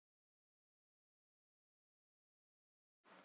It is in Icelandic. Annar þáttur